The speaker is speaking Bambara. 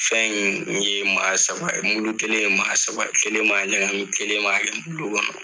Fɛn in n ye maa saba, mulu kelen ye maa saba, kelen b'a ɲagamin kelen b'a kɛ bulo kɔnɔ.